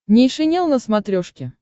нейшенел на смотрешке